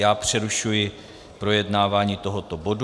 Já přerušuji projednávání tohoto bodu.